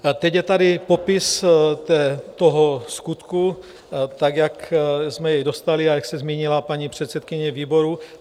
Teď je tady popis toho skutku tak, jak jsme jej dostali a jak se zmínila paní předsedkyně výboru.